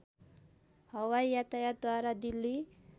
हवाई यातायातद्वारा दिल्ली